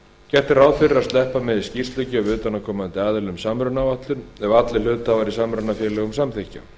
gert er ráð fyrir að sleppa megi skýrslugjöf utanaðkomandi aðila um samrunaáætlun ef allir hluthafar í samrunafélögum samþykkja